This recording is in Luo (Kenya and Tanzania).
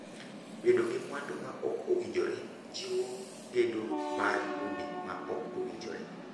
Bedo gi mwandu ma ok owinjore jiwo gedo mar udi ma ok owinjore.